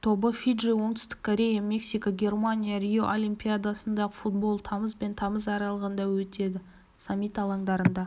тобы фиджи оңтүстік корея мексика германия рио олимпиадасында футбол тамыз бен тамыз аралығында өтеді саммит алаңдарында